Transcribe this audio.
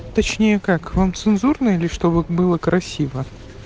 точнее как вам цензурно или чтобы было красиво